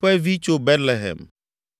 ƒe vi tso Betlehem;